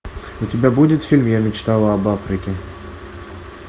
у тебя будет фильм я мечтала об африке